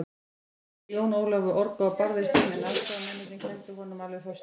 Jón Ólafur orgaði og barðist um, en aðstoðarmennirnir héldu honum alveg föstum.